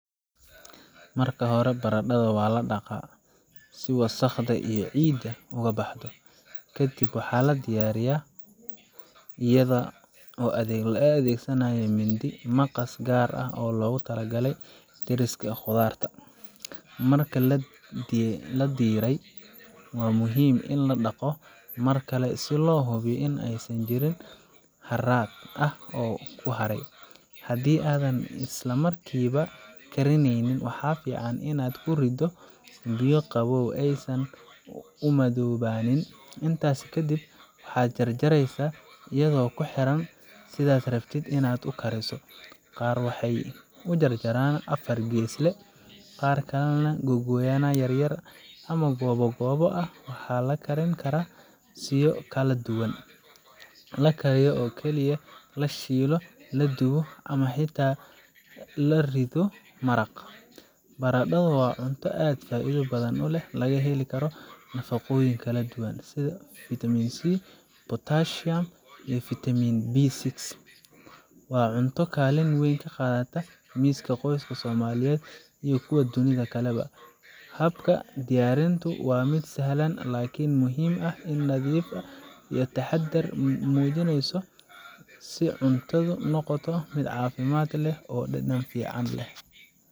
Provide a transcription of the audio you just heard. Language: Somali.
Marka hore, baradhada waa la dhaqaa si wasakhda iyo ciidda uga baxdo. Ka dib, waa la diiraa iyadoo la adeegsanayo mindi ama maqas gaar ah oo loogu talagalay diirista khudradda. Marka la diiray, waa muhiim in la dhaqdo mar kale si loo hubiyo in aysan jirin wax haraad ah oo ku haray. Haddii aadan isla markiiba karinayn, waxaa fiican inaad ku riddo biyo qabow si aysan u madoobaannin. Intaas kadib, waxaad jarjaraysaa iyadoo kuxiran sidaad rabto in aad u kariso qaar waxay u jaraan afar geesle, qaar kalena googo’yo yaryar ama goobo goobo ah. Waxaa la karin karaa siyo kala duwan: la kariyo oo kaliya, la shiilo, la dubo ama xitaa la riddo maraq. Baradhadu waa cunto aad u faa’iido badan oo laga heli karo nafaqooyin kala duwan sida vitaminC, potassium iyo vitaminB6. Waa cunto kaalin weyn ka qaadata miiska qoyska Soomaaliyeed iyo kuwa dunida kaleba. Habka diyaarinteedu waa mid sahlan, laakiin muhiim ah in nadiif iyo taxaddar laga muujiyo si cuntadu u noqoto mid caafimaad leh oo dhadhan fiican leh.